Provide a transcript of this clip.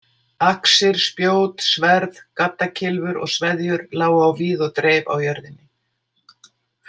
Axir, spjót, sverð, gaddakylfur og sveðjur lágu á víð og dreif á jörðinni.